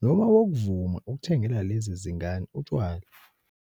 noma wokuvuma ukuthengela lezi zingane utshwala.